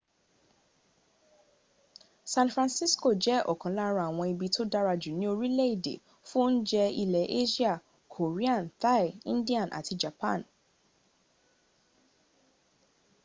san francisco jẹ́ ọ̀kan lára àwọn ibi tó dára jù ní orílẹ̀èdè fún oúnjẹ ilẹ asia korean thai indian àti japan